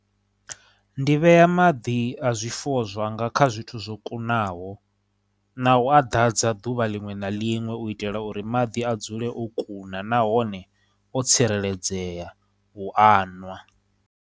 Ndi vhea maḓi a zwifuwo zwanga kha zwithu zwo kunaho na u a dadza duvha linwe na linwe u itela uri maḓi a dzule o kuna, nahone o tsireledzea u a nwa.